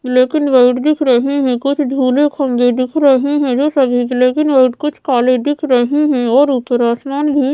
लेकिन व्हाइट दिख रहे हैं कुछ खम्भे दिख रहे हैं लेकिन वे कुछ काले दिख रही हैं और ऊपर आसमान भी--